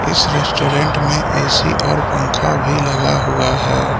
इस रेस्टोरेंट में ए_सी और पंखा भी लगा हुआ है।